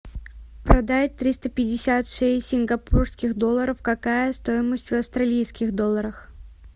продать триста пятьдесят шесть сингапурских долларов какая стоимость в австралийских долларах